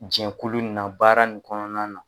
Jɛnkulu in na baara nin kɔnɔna na